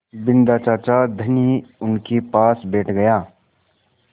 बिन्दा चाचा धनी उनके पास बैठ गया